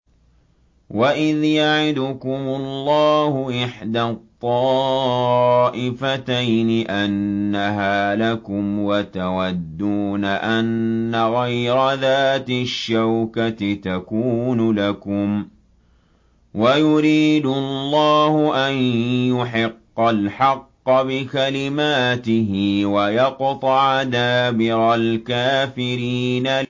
وَإِذْ يَعِدُكُمُ اللَّهُ إِحْدَى الطَّائِفَتَيْنِ أَنَّهَا لَكُمْ وَتَوَدُّونَ أَنَّ غَيْرَ ذَاتِ الشَّوْكَةِ تَكُونُ لَكُمْ وَيُرِيدُ اللَّهُ أَن يُحِقَّ الْحَقَّ بِكَلِمَاتِهِ وَيَقْطَعَ دَابِرَ الْكَافِرِينَ